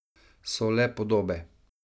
So le podobe.